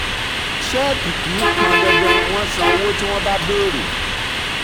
ṣẹ́ẹ́kì kì í pọn dandan wọ́n san owó tí wọ́n bá béèrè.